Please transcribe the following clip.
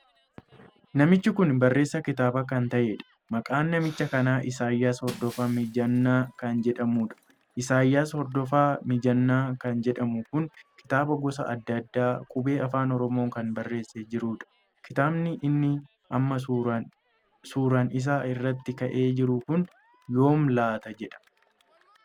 Namichi kun barreessaa kitaabaa kan taheedha. maqaan namicha kanaa Isaayyaas Hordofaa Miijanaa kan jedhamuudha. Isaayyaas Hordofaa Miijanaa kan jedhamu kun kitaaba gosa addaa addaa qubee Afaan Oromoo kan barreesse jiruudha. kitaabni inni amma suuraan isaa iraatt ka'ee jiru kun yoom laataa jedha.